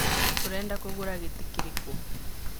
Ũrenda kũgũra gĩtĩ kĩrĩkũ.